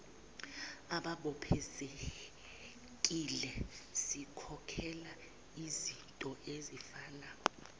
ababophezekile sikhokhela izintoezifana